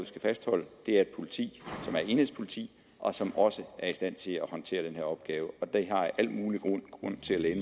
skal fastholde et politi som er et enhedspoliti og som også er i stand til at håndtere den her opgave og der har jeg al mulig grund til at